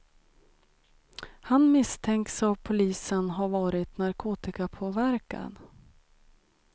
Han misstänks av polisen ha varit narkotikapåverkad.